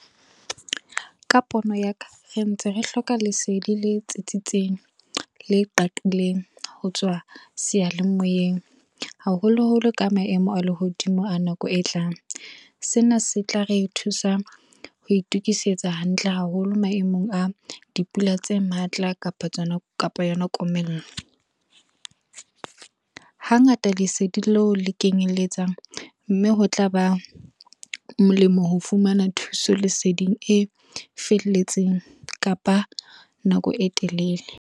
Ka pono ya ka, re ntse re hloka lesedi le tsitsitseng, le qaqileng ho tswa seyalemoyeng haholoholo ka maemo a lehodimo a nako e tlang. Sena se tla re thusa ho itukisetsa hantle haholo maemong a dipula tse matla kapa yona komello. Hangata lesedi leo le kenyelletsang, mme ho tla ba molemo ho fumana thuso leseding e felletseng kapa nako e telele.